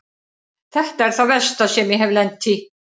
Þetta er það versta sem ég hef lent í.